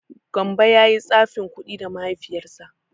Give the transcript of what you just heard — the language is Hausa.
Gambo ya yi tsafin kuɗi da Mahaifiyarsa.